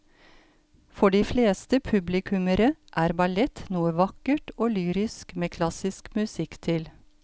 For de fleste publikummere er ballett noe vakkert og lyrisk med klassisk musikk til.